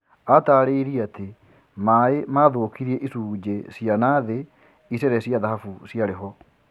Atarĩ irie ati rĩ rĩ a maĩ mathũkirie icũjĩ cia nathĩ icere cia thahabu ciarĩ ho